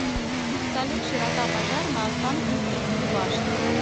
салют широта пожар на останкинской телебашне